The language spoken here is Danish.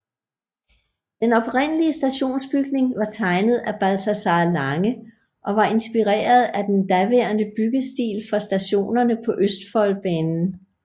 Den oprindelige stationsbygning var tegnet af Balthazar Lange og var inspireret af den daværende byggestil for stationerne på Østfoldbanen